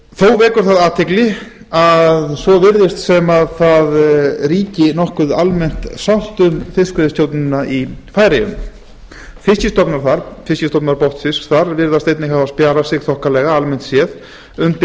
þó vekur athygli að svo virðist sem nokkuð almenn sátt ríki um fiskveiðistjórnina í færeyjum fiskstofnar botnfisks þar virðast einnig hafa spjarað sig þokkalega almennt séð undir